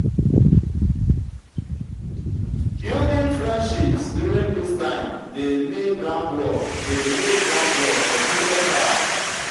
building friendships during dis time dey lay groundwork dey lay groundwork for future ties.